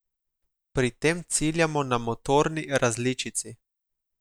Pri tem ciljamo na motorni različici.